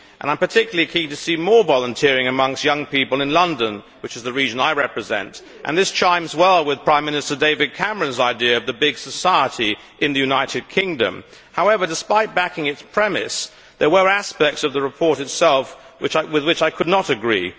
I am particularly keen to see more volunteering amongst young people in London, which is the region I represent, and this chimes well with Prime Minister David Cameron's idea of the big society in the United Kingdom. However, despite backing its premise, there were aspects of the report itself with which I could not agree.